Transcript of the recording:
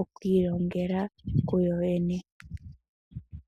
okwiilongela kuyo yene.